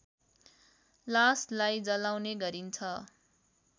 लासलाई जलाउने गरिन्छ